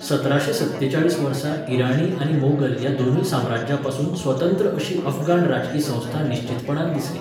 सतराशें सत्तेचाळीस वर्सा इराणी आनी मोगल ह्या दोनूय साम्राज्यांपसून स्वतंत्र अशी अफगाण राजकी संस्था निश्चीतपणान दिसली.